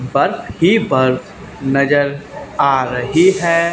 बर्फ ही बर्फ नजर आ रही है।